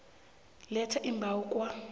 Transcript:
letha iimbawo kwa